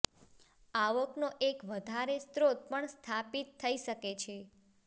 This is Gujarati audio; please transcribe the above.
આવક નો એક વધારે સ્ત્રોત પણ સ્થાપિત થઇ શકે છે